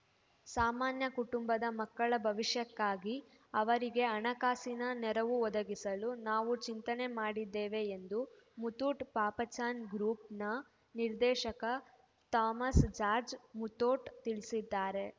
ಸಾಮಾನ್ಯ ಕುಟುಂಬದ ಮಕ್ಕಳ ಭವಿಷ್ಯಕ್ಕಾಗಿ ಅವರಿಗೆ ಹಣಕಾಸಿನ ನೆರವು ಒದಗಿಸಲು ನಾವು ಚಿಂತನೆ ಮಾಡಿದ್ದೇವೆ ಎಂದು ಮುತ್ತೂಟ್‌ ಪಾಪಚಾನ್‌ ಗ್ರೂಪ್‌ನ ನಿರ್ದೇಶಕ ಥಾಮಸ್‌ ಜಾರ್ಜ್ ಮುತೋಟ್‌ ತಿಳಿಸಿದ್ದಾರೆ